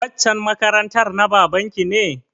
Waccan makarantar na baban ki ne?